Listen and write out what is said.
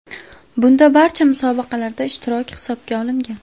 Bunda barcha musobaqalardagi ishtirok hisobga olingan.